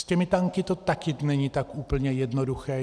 S těmi tanky to taky není tak úplně jednoduché.